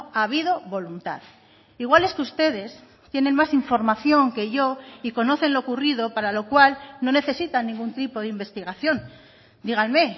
ha habido voluntad igual es que ustedes tienen más información que yo y conocen lo ocurrido para lo cual no necesitan ningún tipo de investigación díganme